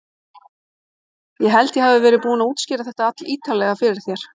Ég held ég hafi verið búinn að útskýra þetta allítarlega fyrir þér.